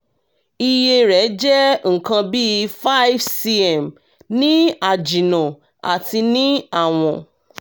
iye rẹ̀ jẹ́ nǹkan bí five cm ní àjìnnà àti ní àwọ̀n